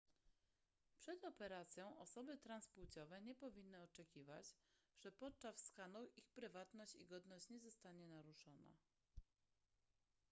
przed operacją osoby transpłciowe nie powinny oczekiwać że podczas skanów ich prywatność i godność nie zostanie naruszona